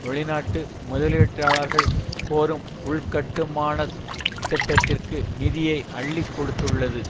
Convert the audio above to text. வெளிநாட்டு முதலீட்டாளர்கள் கோரும் உள்கட்டுமானத் திட்டத்திற்கு நிதியை அள்ளி கொடுத்துள்ளது